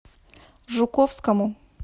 жуковскому